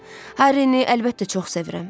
Harrini əlbəttə çox sevirəm.